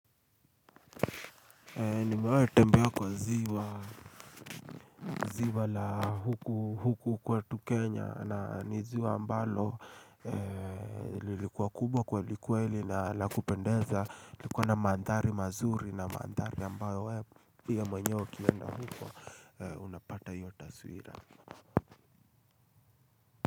Niona nitembee kwa ziwa la huku kwetu Kenya na niziwa ambalo lilikuwa kubwa kweli kweli na la kupendeza likuwa na mandhari mazuri na mandhari ambayo mwenyewe ukienda huku unapata hiyo taswira.